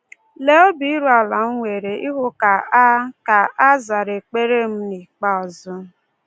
Lee obi iru ala m nwere ịhụ ka a ka a zara ekpere m n’ikpeazụ.